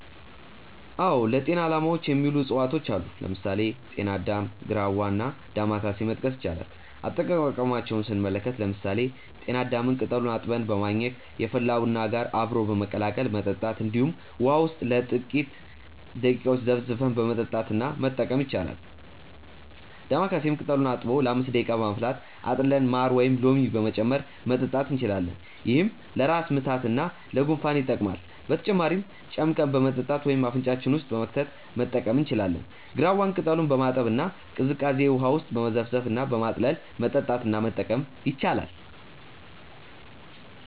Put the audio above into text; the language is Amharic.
አዎ ለጤና አላማዎች የሚውሉ እፅዋቶች አሉ። ለምሳሌ: ጤና አዳም፣ ግራዋ እና ዳማከሴ መጥቀስ ይቻላል። አጠቃቀማቸውንም ስንመለከት ለምሳሌ ጤና አዳምን ቅጠሉን አጥበን በማኘክ፣ የፈላ ቡና ጋር አብሮ በመቀላቀል መጠጣት እንዲሁም ውሃ ውስጥ ለጥቂተረ ደቂቃዎች ዘፍዝፈን በመጠጣት እና መጠቀም ይቻላል። ዳማከሴንም ቅጠሉን አጥቦ ለ5 ደቂቃ በማፍላት አጥልለን ማር ወይም ሎሚ በመጨመር መጠጣት እንችላለን። ይህም ለራስ ምታት እና ለጉንፋን ይጠቅማል። በተጨማሪም ጨምቀን በመጠጣት ወይም አፍንጫችን ውስጥ በመክተት መጠቀም እንችላለን። ግራዋን ቅጠሉን በማጠብ እና ቀዝቃዛ ውሃ ውስጥ በመዘፍዘፍ እና በማጥለል መጠጣት እና መጠቀም ይቻላል።